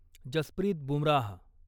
Jasprit Bumrah